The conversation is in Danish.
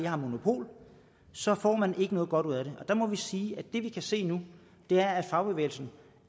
har monopol så får man ikke noget godt ud af det og der må vi sige at det vi kan se nu er at fagbevægelsen